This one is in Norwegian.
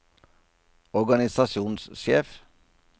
organisasjonssjef